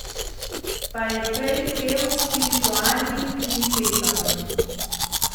Pa je prej pel s Spiritualnim kvintetom!